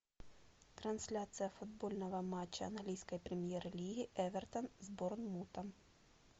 трансляция футбольного матча английской премьер лиги эвертон с борнмутом